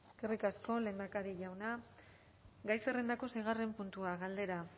eskerrik asko lehendakari jauna gai zerrendako seigarren puntua galdera